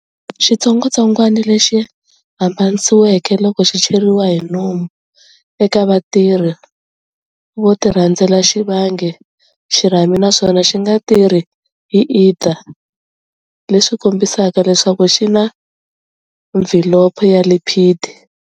Xitsongwatsongwana lexi hambanisiweke loko xi cheriwa hi nomu eka vatirhi vo tirhandzela xi vange xirhami naswona xi nga tirhi hi ether leswi kombisaka leswaku xi na mvhilopho ya lipid.